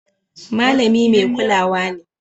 Malami mai kulawa ne